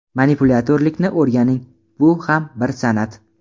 Manipulyatorlikni o‘rganing, bu ham bir san’at.